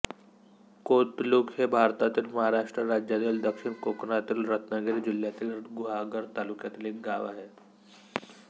कोतलुक हे भारतातील महाराष्ट्र राज्यातील दक्षिण कोकणातील रत्नागिरी जिल्ह्यातील गुहागर तालुक्यातील एक गाव आहे